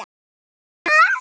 Og það gerði Gissur.